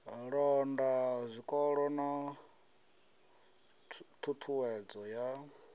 londa zwikolo na ṱhuṱhuwedzo ya